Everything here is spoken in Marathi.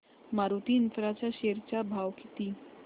मारुती इन्फ्रा च्या शेअर चा भाव किती